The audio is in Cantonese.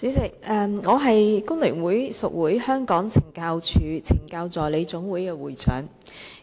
主席，我是工聯會屬會香港懲教署懲教助理總會的會長。